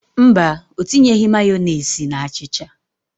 Mba, ọ tinyeghị Mayọnesị na achịcha.